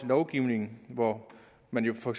lovgivningen hvor man jo for